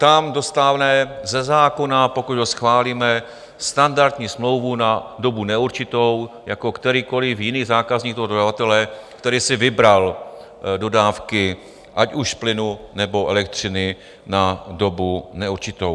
Tam dostane ze zákona, pokud ho schválíme, standardní smlouvu na dobu neurčitou jako kterýkoliv jiný zákazník toho dodavatele, který si vybral dodávky, ať už plynu, nebo elektřiny, na dobu neurčitou.